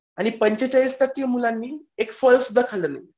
आणि पंचेचाळीस टक्के मुलांनी एक फळ सुद्धा खाल्लं नाही.